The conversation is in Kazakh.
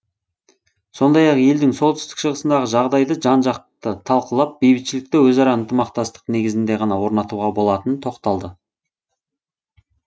сондай ақ елдің солтүстік шығысындағы жағдайды жан жақты талқылап бейбітшілікті өзара ынтымақтастық негізінде ғана орнатуға болатынына тоқталды